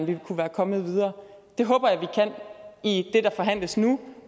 vi kunne være kommet videre det håber jeg vi kan i det der forhandles nu